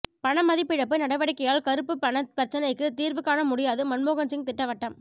பணமதிப்பிழப்பு நடவடிக்கையால் கருப்புப் பண பிரச்சினைக்கு தீர்வு காண முடியாது மன்மோகன் சிங் திட்டவட்டம்